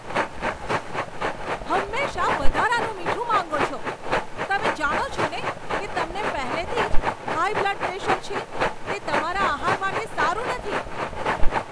હંમેશા વધારાનું મીઠું માંગો છો! તમે જાણો છો ને કે તમને પહેલેથી જ હાઈ બ્લડ પ્રેશર છે, તે તમારા આહાર માટે સારું નથી.